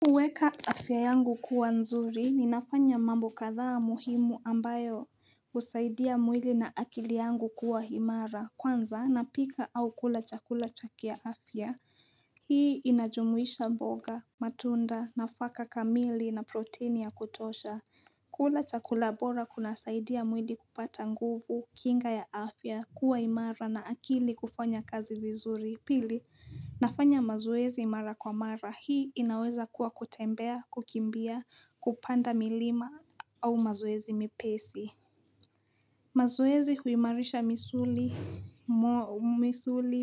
Huweka afya yangu kuwa nzuri ni nafanya mambo kadhaa muhimu ambayo husaidia mwili na akili yangu kuwa imara kwanza napika au kula chakula cha kiafya Hii inajumuisha mboga matunda nafaka kamili na proteini ya kutosha kula chakula bora kunasaidia mwili kupata nguvu kinga ya afya kuwa imara na akili kufanya kazi vizuri Pili, nafanya mazoezi mara kwa mara. Hii inaweza kuwa kutembea, kukimbia, kupanda milima au mazoezi mepesi. Mazoezi huimarisha misuli,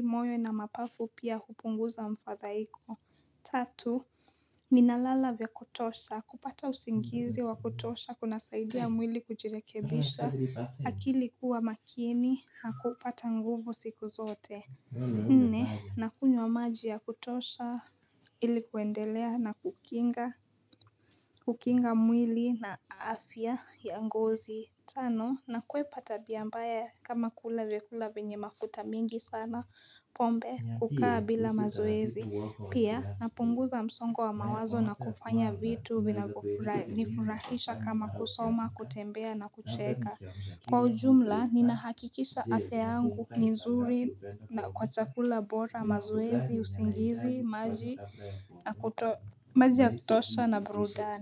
moyo na mapafu pia hupunguza mfadhaiko. Tatu, ninalala vya kutosha. Kupata usingizi wa kutosha kunasaidia mwili kujirekebisha. Akili kuwa makini, hakupata nguvu siku zote. Nne na kunywa maji ya kutosha ilikuendelea na kukinga mwili na afya ya ngozi Tano nakwepa tabia mbaya kama kula vyakula venye mafuta mingi sana pombe kukaa bila mazoezi Pia napunguza msongo wa mawazo na kufanya vitu vinavyonifurahisha kama kusoma kutembea na kucheka Kwa ujumla, ninahakikisha afya yangu ni nzuri na kwa chakula bora, mazoezi, usingizi, maji ya kutosha na brudani.